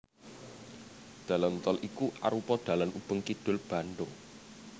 Dalan tol iki arupa dalan ubeng kidul Bandhung